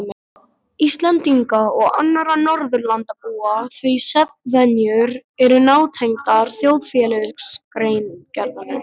Íslendinga og annarra Norðurlandabúa því svefnvenjur eru nátengdar þjóðfélagsgerðinni.